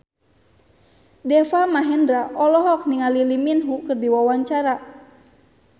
Deva Mahendra olohok ningali Lee Min Ho keur diwawancara